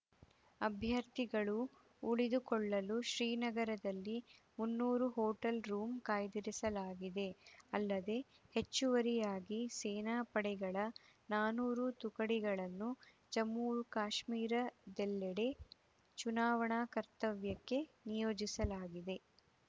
ಅಭ್ಯರ್ಥಿಗಳು ಉಳಿದುಕೊಳ್ಳಲು ಶ್ರೀನಗರದಲ್ಲಿ ಮುನ್ನೂರು ಹೋಟೆಲ್‌ ರೂಮು ಕಾಯ್ದಿರಿಸಲಾಗಿದೆ ಅಲ್ಲದೇ ಹೆಚ್ಚುವರಿಯಾಗಿ ಸೇನಾ ಪಡೆಗಳ ನಾನೂರು ತುಕಡಿಗಳನ್ನು ಜಮ್ಮು ಕಾಶ್ಮೀರದೆಲ್ಲೆಡೆ ಚುನಾವಣಾ ಕರ್ತವ್ಯಕ್ಕೆ ನಿಯೋಜಿಸಲಾಗಿದೆ